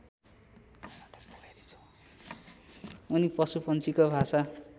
उनी पशुपन्छीको भाषा